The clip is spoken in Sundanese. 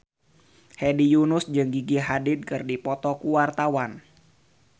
Hedi Yunus jeung Gigi Hadid keur dipoto ku wartawan